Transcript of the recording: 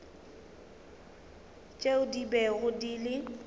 tšeo di bego di le